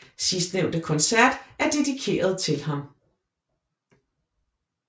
Sidstnævnte koncert er dedikeret til ham